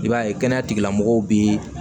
I b'a ye kɛnɛya tigilamɔgɔw bɛ